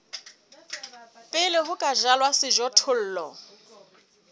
pele ho ka jalwa sejothollo